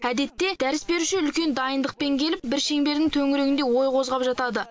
әдетте дәріс беруші үлкен дайындықпен келіп бір шеңбердің төңірегінде ой қозғап жатады